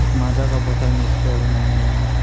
माझा का बॉटल में स्प्रे बनाया गया है।